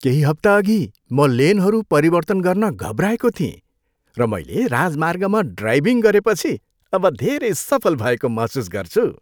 केही हप्ता अघि, म लेनहरू परिवर्तन गर्न घबराएको थिएँ, र मैले राजमार्गमा ड्राइभिङ गरेपछि अब धेरै सफल भएको महसुस गर्छु!